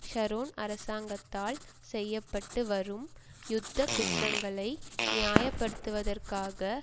Sharon அரசாங்கத்தால் செய்ய பட்டு வரும் யுத்த குற்றங்களை நியாயப்படுத்துவதற்காக